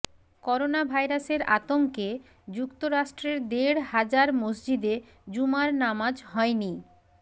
করোনাভাইরাসের আতঙ্কে যুক্তরাষ্ট্রের দেড় হাজার মসজিদে জুমার নামাজ হয়নি